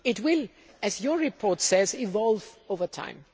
It will, as your report says, evolve over time.